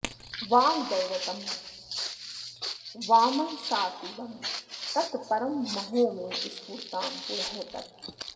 वाग्दैवतं वाङ्मनसातिगं तत् परं महो मे स्फुरतां पुरस्तात्